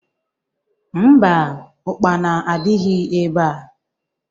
Mba, Ụkpana adịghị ebea